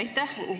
Aitäh!